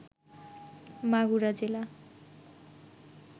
মাগুরা জেলা